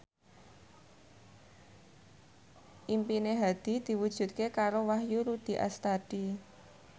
impine Hadi diwujudke karo Wahyu Rudi Astadi